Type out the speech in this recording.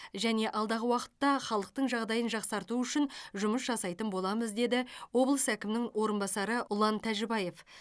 және алдағы уақытта халықтың жағдайын жақсарту үшін жұмыс жасайтын боламыз деді облыс әкімінің орынбасары ұлан тәжібаев